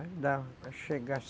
Aí dava para chegar.